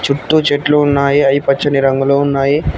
చుట్టు చెట్లు ఉన్నాయి అయి పచ్చని రంగులో ఉన్నాయి.